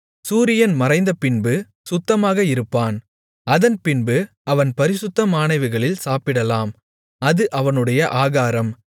சூரியன் மறைந்தபின்பு சுத்தமாக இருப்பான் அதன்பின்பு அவன் பரிசுத்தமானவைகளில் சாப்பிடலாம் அது அவனுடைய ஆகாரம்